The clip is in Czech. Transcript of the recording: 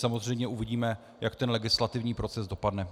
Samozřejmě uvidíme, jak ten legislativní proces dopadne.